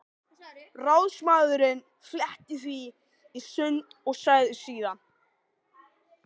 Ráðsmaðurinn fletti því í sundur og sagði síðan